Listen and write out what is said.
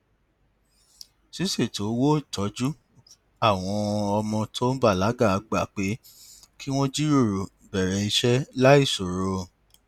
ṣíṣètò owó tọjú àwọn ọmọ tó ń bàlágà gba pé kí wọn jíròrò bẹrẹ iṣẹ láìṣòro